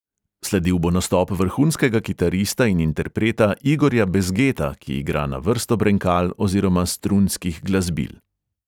Sledil bo nastop vrhunskega kitarista in interpreta igorja bezgeta, ki igra na vrsto brenkal oziroma strunskih glasbil.